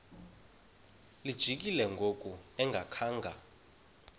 lijikile ngoku engakhanga